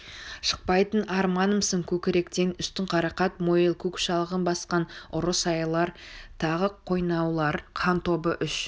шықпайтын арманымсың көкіректен үстін қарақат мойыл көк шалғын басқан ұры сайлар тағы қойнаулар хан тобы үш